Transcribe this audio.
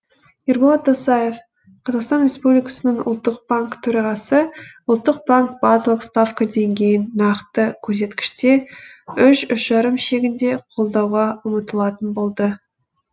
ерболат досаев қр ұлттық банкі төрағасы ұлттық банк базалық ставка деңгейін нақты көрсеткіште үш үш жарым шегінде қолдауға ұмтылатын болады